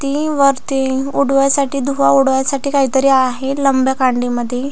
ती वरती उडवाय्साठी धुवा उडवाय साठी काहीतरी आहे लंब्या कांडी मध्ये.